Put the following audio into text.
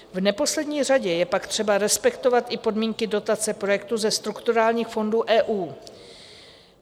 V neposlední řadě je pak třeba respektovat i podmínky dotace projektu ze strukturálních fondů EU.